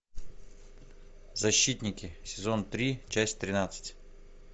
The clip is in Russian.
защитники сезон три часть тринадцать